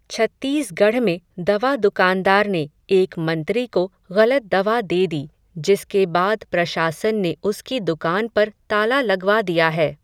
छत्तीसगढ़ में दवा दुकानदार ने, एक मंत्री को, ग़लत दवा दे दी, जिसके बाद प्रशासन ने उसकी दुकान पर ताला लगवा दिया है.